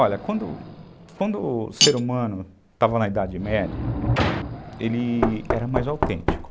Olha, quando quando o ser humano estava na Idade Média, ele era mais autêntico.